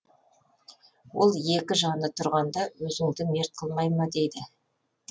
ол екі жаны тұрғанда өзіңді мерт қылмай ма дейді